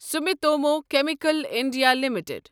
Sumitomo Chemical India limited